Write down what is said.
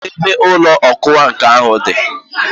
Kedụ ebe ụlọ ọkwa nkà ahụ dị?